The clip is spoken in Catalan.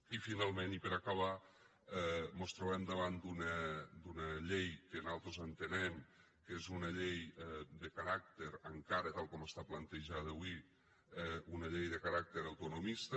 i finalment i per acabar mos trobem davant d’una llei que nosaltres entenem que és una llei encara tal com està plantejada avui de caràcter autonomista